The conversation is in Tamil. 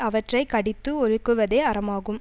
அவற்றை கடித்து ஒழுகுவதே அறமாகும்